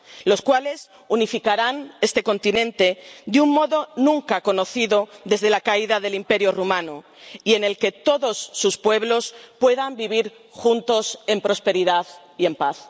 los cuales unificarán este continente de un modo nunca conocido desde la caída del Imperio romano y en el que todos sus pueblos puedan vivir juntos en prosperidad y en paz.